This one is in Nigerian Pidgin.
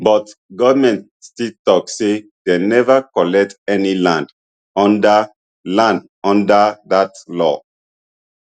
but goment still tok say dem never collect any land under land under dat law